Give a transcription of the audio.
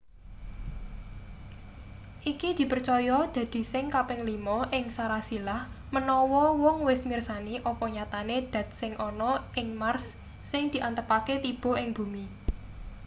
iki dipercaya dadi sing kaping lima ing sarasilah manawa wong wis mirsani apa nyatane dat sing ana ing mars sing diantepake tiba ing bumi